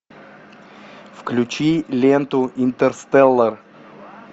включи ленту интерстеллар